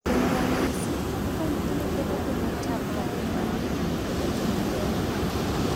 Kuom ranyisi, kaka nyithindo bedo joma tin kae bang’e gibedo jomadongo, .